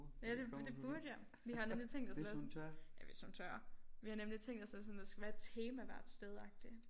Ja det det burde jeg vi har nemlig tænkt os at lave sådan ja hvis hun tør vi har nemlig tænkt os at sådan at der skal være et tema hvert sted agtig